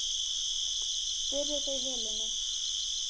spurðu þau Helenu.